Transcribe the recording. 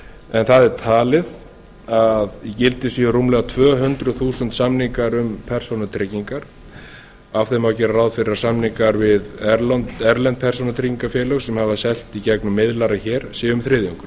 en það er talið að í gildi séu rúmlega tvö hundruð þúsund samningar um persónutryggingar af þeim má gera ráð fyrir að samningar við erlend persónutryggingafélög sem hafa selt í gegnum miðlara hér séu um þriðjungur